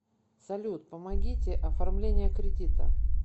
салют помогите оформление кредита